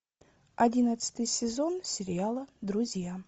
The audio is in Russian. одиннадцатый сезон сериала друзья